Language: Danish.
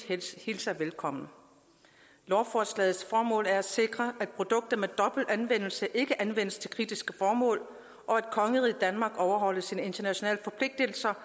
hilser velkommen lovforslagets formål er at sikre at produkter med dobbelt anvendelse ikke anvendes til kritiske formål og at kongeriget danmark overholder sine internationale forpligtelser